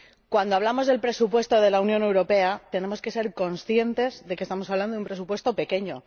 cuando hablamos del presupuesto de la Unión Europea, tenemos que ser conscientes de que estamos hablando de un presupuesto pequeño